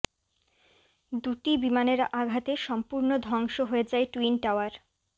দুটি বিমানের আঘাতে সম্পূর্ণ ধ্বংস হয়ে যায় টুইন টাওয়ার